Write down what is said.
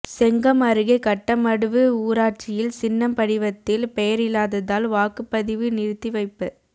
செங்கம் அருகே கட்டமடுவு ஊராட்சியில் சின்னம் படிவத்தில் பெயர் இல்லாததால் வாக்குப்பதிவு நிறுத்திவைப்பு